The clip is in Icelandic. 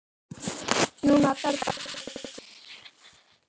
Nú þarf bara eitt tæki.